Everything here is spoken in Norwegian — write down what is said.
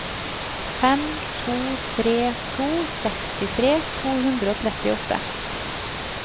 fem to tre to sekstitre to hundre og trettiåtte